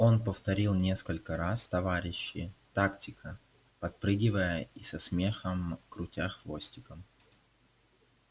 он повторил несколько раз товарищи тактика подпрыгивая и со смехом крутя хвостиком